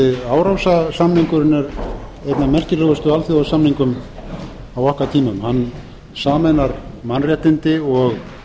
er einn af merkilegustu alþjóðasamningum á okkar tímum hann sameinar mannréttindi og